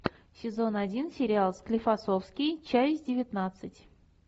сезон один сериал склифосовский часть девятнадцать